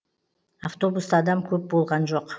автобуста адам көп болған жоқ